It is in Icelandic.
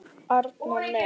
Arnar minn!